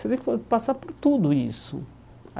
Você tem que passar por tudo isso.